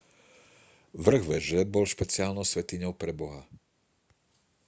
vrch veže bol špeciálnou svätyňou pre boha